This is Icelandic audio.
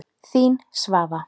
Þín, Svava.